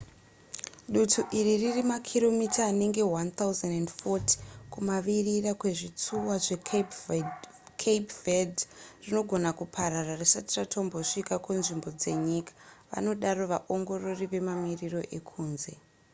dutu iri riri makiromita anenge 1 040 kumavirira kwezvitsuwa zvecape verde rinogona kuparara risati ratombosvika kunzvimbo dzenyika vanodaro vaongorori vemamiriro ekunze